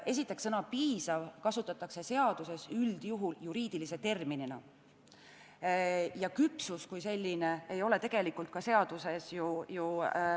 Esiteks, sõna "piisav" kasutatakse seaduses üldjuhul juriidilise terminina ja sõna "küpsus" ei ole tegelikult ju seaduses kasutatud.